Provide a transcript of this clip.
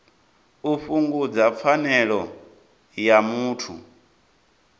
u fhungudza pfanelo ya muthu